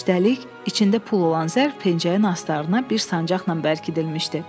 Üstəlik, içində pul olan zərf pencəyin astarına bir sancaqla bərkidilmişdi.